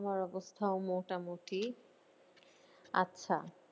আমার অবস্থা মোটা মটি আচ্ছা